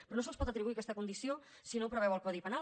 però no se’ls pot atribuir aquesta condició si no ho preveu el codi penal